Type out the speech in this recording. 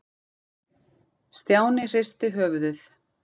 Stjáni hristi höfuðið.